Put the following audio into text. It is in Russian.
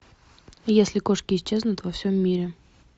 если кошки исчезнут во всем мире